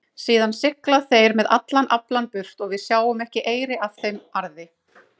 Síðan sigla þeir með allan aflann burt og við sjáum ekki eyri af þeim arði.